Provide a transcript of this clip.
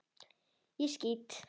Ég skýt!